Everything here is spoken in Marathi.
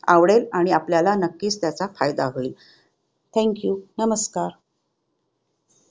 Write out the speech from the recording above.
आवडेल आणि आपल्याला नक्कीच त्याचा फायदा होईल. Thank you. नमस्कार!